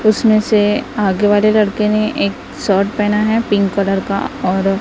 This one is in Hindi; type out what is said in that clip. उसमें से आगे वाले लड़के ने एक शर्ट पहना है पिंक कलर का और--